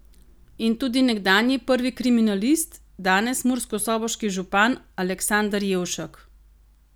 In tudi nekdanji prvi kriminalist, danes murskosoboški župan Aleksander Jevšek.